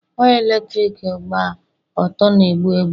waya eletrik gba ọtọ na-egbu egbu